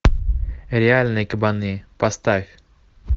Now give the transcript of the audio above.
реальные кабаны поставь